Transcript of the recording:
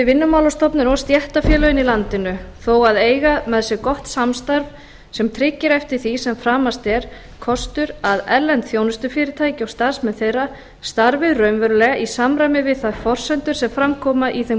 og stéttarfélögin í landinu þó að eiga með sér gott samstarf sem tryggir eftir því sem framast er kostur að erlend þjónustufyrirtæki og starfsmenn þeirra starfi raunverulega í samræmi við þær forsendur sem fram koma í þeim